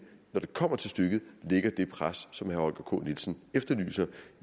når det kommer til stykket lægger det pres som herre holger k nielsen efterlyser